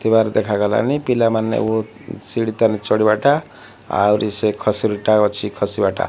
ଥିବାର ଦେଖାଗଲାନି। ପିଲାମାନେ ସିଡ୍ ତଳେ ଚଢ଼ବାଟା ଆଉରି ସେ ଖସୁଲିଟା ଅଛି। ଖସିବାଟା --